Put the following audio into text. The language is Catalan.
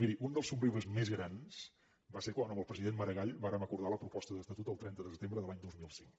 miri un dels somriures més grans va ser quan amb el president maragall vàrem acordar la proposta d’estatut el trenta de setembre de l’any dos mil cinc